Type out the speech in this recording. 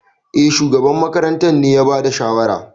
Eh, shugaban makarantar ne ya bada shawara.